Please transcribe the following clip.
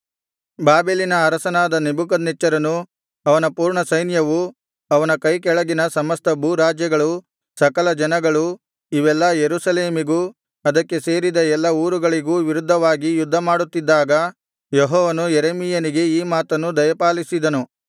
ಬಾಬೆಲಿನ ಅರಸನಾದ ನೆಬೂಕದ್ನೆಚ್ಚರನು ಅವನ ಪೂರ್ಣಸೈನ್ಯವು ಅವನ ಕೈಕೆಳಗಿನ ಸಮಸ್ತ ಭೂರಾಜ್ಯಗಳು ಸಕಲ ಜನಗಳು ಇವೆಲ್ಲಾ ಯೆರೂಸಲೇಮಿಗೂ ಅದಕ್ಕೆ ಸೇರಿದ ಎಲ್ಲಾ ಊರುಗಳಿಗೂ ವಿರುದ್ಧವಾಗಿ ಯುದ್ಧಮಾಡುತ್ತಿದ್ದಾಗ ಯೆಹೋವನು ಯೆರೆಮೀಯನಿಗೆ ಈ ಮಾತನ್ನು ದಯಪಾಲಿಸಿದನು